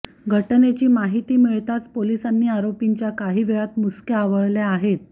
घटनेची माहिती मिळताच पोलिसांनी आरोपींच्या काही वेळात मुसक्या आवळल्या आहेत